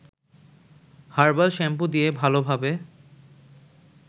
herbal shampoo দিয়ে ভালোভাবে